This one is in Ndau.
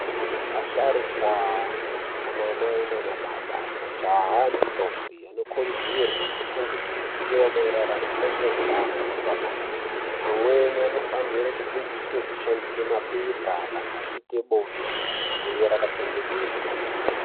Asharukwa, anamai, nanababa, majaha nendombi anokurudzirwe kupangidzwe zivo marerano ngezvehutano hwepabonde. Amweni anofanire kudzidziswe kufandise pepa kana achiite bonde rive rakachengetedzwa.